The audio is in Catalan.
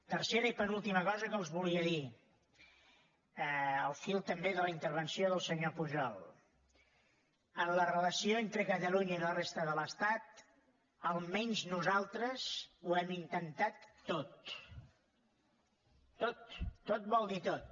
tercera i penúltima cosa que els volia dir al fil també de la intervenció del senyor pujol en la relació entre catalunya i la resta de l’estat almenys nosaltres ho hem intentat tot tot tot vol dir tot